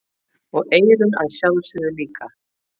Og eyrun að sjálfsögðu líka.